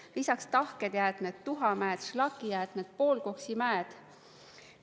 Lisaks tahked jäätmed, tuhamäed, šlakijäätmed, poolkoksimäed.